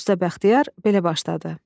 Usta Bəxtiyar belə başladı: